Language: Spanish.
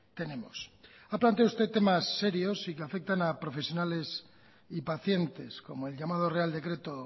tenemos ha planteado usted temas serios y que afectan a profesionales y pacientes como el llamado real decreto